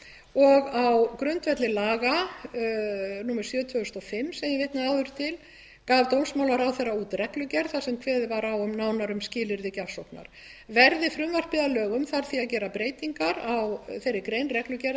og á grundvelli laga númer sjötíu og fimm sem ég vitnaði áður til gaf dómsmálaráðherra út reglugerð þar sem kveðið var nánar á um skilyrði gjafsóknar verði frumvarpið að lögum þarf því að gera breytingar á þeirri grein reglugerðarinnar sem